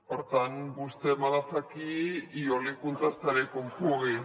per tant vostè me la fa aquí i jo li contestaré com pugui